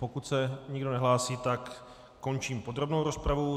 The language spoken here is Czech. Pokud se nikdo nehlásí, tak končím podrobnou rozpravu.